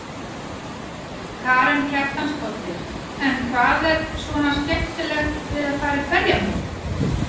Karen Kjartansdóttir: En hvað er svona skemmtilegt við að fara í berjamó?